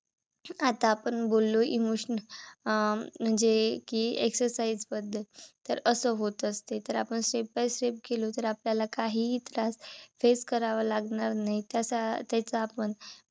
कि आता आपण बोललो emotional अं म्हणजे कि exercise बद्दल. तर असं होत असतय तर आपण Step By Step गेलो. तर आपल्याला काहीही त्रास face करावा लागणार नाही. त्याचा त्याचा आपण